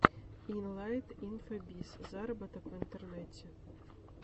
илайт инфобиз зароботок в интернете